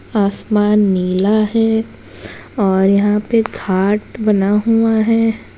आसमान नीला है और यहां पर घाट बना हुआ है।